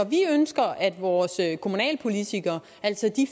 vi ønsker at vores kommunalpolitikere altså de